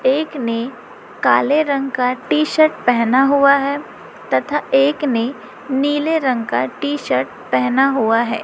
एक ने काले रंग का टी शर्ट पहना हुआ है तथा एक ने नीले रंग का टी शर्ट पहना हुआ है।